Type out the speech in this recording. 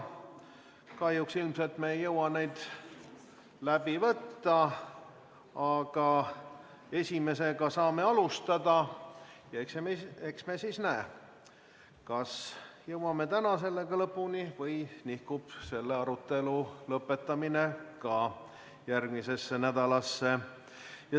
Kahjuks me ilmselt ei jõua neid läbi võtta, aga esimesega saame algust teha ja eks siis ole näha, kas jõuame sellega täna lõpuni või nihkub arutelu lõpetamine järgmisesse nädalasse.